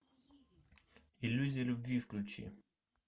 иллюзия любви включи